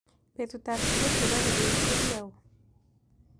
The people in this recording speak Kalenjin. Betutap siget ne po kibet ko ki au